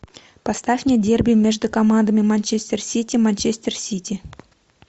поставь мне дерби между командами манчестер сити манчестер сити